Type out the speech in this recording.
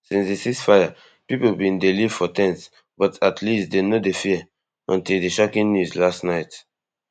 since di ceasefire pipo bin dey live for ten ts but at least dem no dey fear until di shocking news last night